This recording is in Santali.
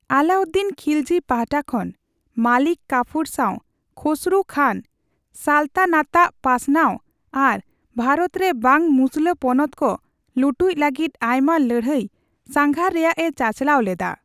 ᱟᱞᱟᱩᱫᱫᱤᱱ ᱠᱷᱤᱞᱡᱤ ᱯᱟᱦᱴᱟ ᱠᱷᱚᱱ ᱢᱟᱞᱤᱠ ᱠᱟᱯᱷᱩᱨ ᱥᱟᱣ ᱠᱷᱚᱥᱨᱩ ᱠᱷᱟᱱ ᱥᱟᱞᱛᱟᱱᱟᱛᱟᱜ ᱯᱟᱥᱱᱟᱣ ᱟᱨ ᱵᱷᱟᱨᱚᱛᱨᱮ ᱵᱟᱝ ᱢᱩᱥᱞᱟᱹ ᱯᱚᱱᱚᱛᱠᱚ ᱞᱩᱴᱩᱡ ᱞᱟᱹᱜᱤᱫ ᱟᱭᱢᱟ ᱞᱟᱹᱲᱦᱟᱹᱭ ᱥᱟᱸᱜᱷᱟᱨ ᱨᱮᱭᱟᱜ ᱮ ᱪᱟᱪᱟᱞᱟᱣ ᱞᱮᱫᱟ ᱾